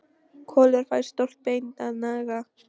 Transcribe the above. Kolur fær stórt bein að naga.